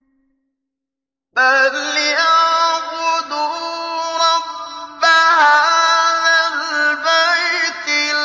فَلْيَعْبُدُوا رَبَّ هَٰذَا الْبَيْتِ